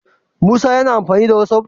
Musa yAna amfani da whatsapp?